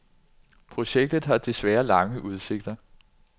Projektet har desværre lange udsigter.